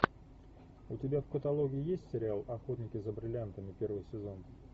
у тебя в каталоге есть сериал охотники за бриллиантами первый сезон